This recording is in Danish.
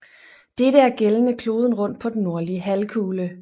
Dette er gældende kloden rundt på den nordlige halvkugle